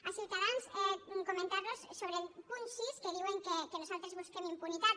a ciutadans comentar los sobre el punt sis que diuen que nosaltres busquem impunitat